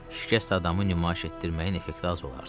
Şikəst adamı nümayiş etdirməyin effekti az olardı.